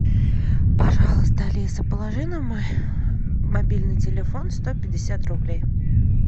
пожалуйста алиса положи на мой мобильный телефон сто пятьдесят рублей